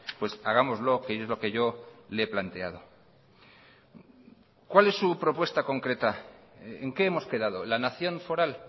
pues hagámoslo que es lo que yo le he planteado cuál es su propuesta concreta en qué hemos quedado la nación foral